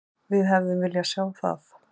Við hefðum viljað sjá það.